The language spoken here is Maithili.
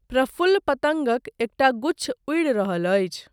प्रफुल्ल पतङ्गक एकटा गुच्छ उड़ि रहल अछि।